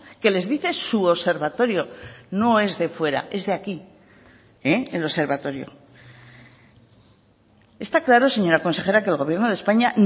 que les dice su observatorio no es de fuera es de aquí el observatorio está claro señora consejera que el gobierno de españa